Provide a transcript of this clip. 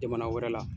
Jamana wɛrɛ la